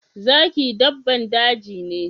Zaki dabban daji ne.